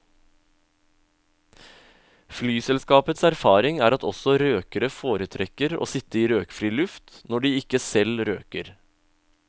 Flyselskapets erfaring er at også røkere foretrekker å sitte i røkfri luft når de ikke selv røker.